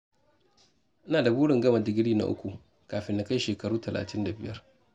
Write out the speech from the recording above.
Ina da burin gama digiri na uku kafin na kai shekaru talatin da biyar.